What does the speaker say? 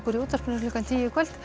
í útvarpinu klukkan tíu í kvöld